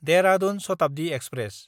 Dehradun Shatabdi express